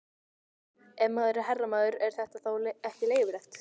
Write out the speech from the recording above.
Ef maður er herramaður, er þetta þá ekki leyfilegt?